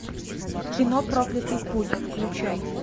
кино проклятый путь включай